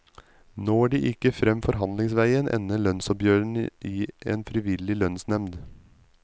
Når de ikke frem forhandlingsveien ender lønnsoppgjørene i en frivillig lønnsnemnd.